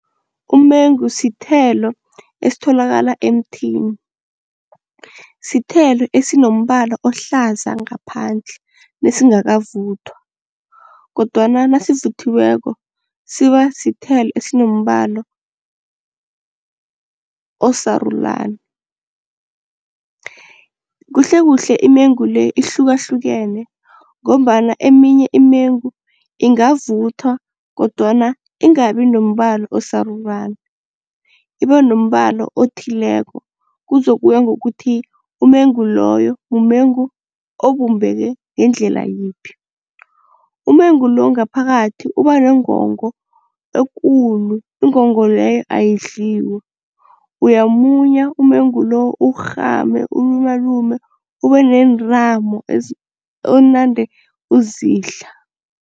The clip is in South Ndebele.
Umengu sithelo esitholakala emthini. Sithelo esinombala ohlaza ngaphandle nesingakavuthwa kodwana nasivuthiweko siba sithelo esinombala, osarulani. Kuhlekuhle imengu le ihlukahlukene ngombana eminye imengu ingavuthwa kodwana ingabi nombala osarulani, ibe nombala othileko kuzokuya ngokuthi umengu loyo mumengu obumbeke ngendlela yiphi. Umengu lo ngaphakathi uba nengongo ekulu ingongo leyo ayidliwa uyawumunya umengu lo, uwurhame, uwulumalume ube nentambo onande uzidla.